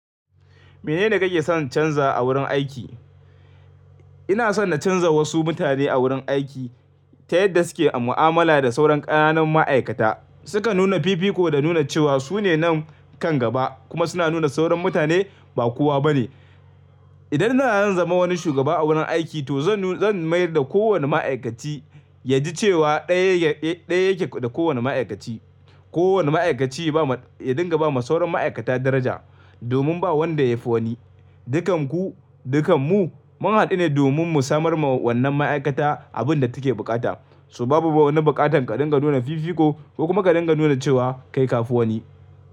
Mene ne kake son canza a wurin aiki? Ina son na canza wasu mutane a wurin aiki ta yadda suke a mu'amala da sauran ƙananan ma'aikata. Suka nuna fifiko da nuna cewa su ne nan kan gaba kuma suna nuna sauran mutane ba kowa ba ne. Idan na zama wani shugaba a wurin aiki to zan, zan mayar da kowane ma'aikaci ya ji cewa ɗaya yake da kowane ma'aikaci. Kowane ma'aikaci ya dinga ba ma sauran ma'aikata daraja domin ba wanda ya fi wani. Dukanku, dukanmu mun haɗu ne domin mu samar ma wannan ma'aikata abin da take buƙata, so babu ba wani buƙatar ka dinga nuna fifiko ko kuma ka dinga nuna cewa kai ka fi wani.